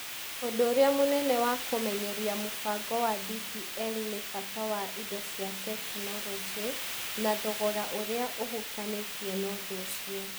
Ũndũ ũrĩa mũnene wa kũmenyeria mũbango wa DPL nĩ bata wa indo cia tekinoronjĩ na thogora ũrĩa ũhutanĩtie na ũndũ ũcio.